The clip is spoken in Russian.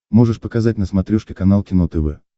можешь показать на смотрешке канал кино тв